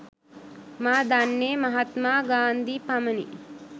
මා දන්නේ මහත්මා ගාන්ධි පමණි.